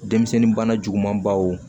Denmisɛnnin bana juguman baw